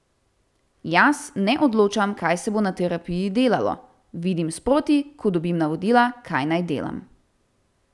Jaz ne odločam, kaj se bo na terapiji delalo, vidim sproti, ko dobim navodila, kaj naj delam.